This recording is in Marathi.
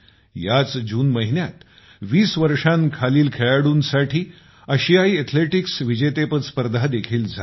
याच जून महिन्यात 20 वर्षांखालील खेळाडूंसाठी आशियायी अथलेटिक्स विजेतेपद स्पर्धा देखील झाली